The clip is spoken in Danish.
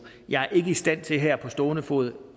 jeg er ikke i stand til her på stående fod